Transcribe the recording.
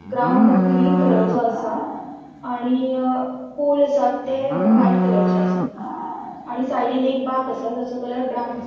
Ground green कलरचो असा आणि अ पोल असा थे व्हाइट कलरसो असा आणि साइडीन एक असा तेजो कलर ब्राउन असा.